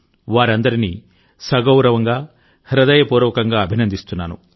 వారందరినీ సగౌరవంగా హృదయపూర్వకంగా అభినందిస్తున్నాను